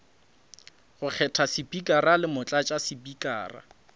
go kgetha spikara le motlatšaspikara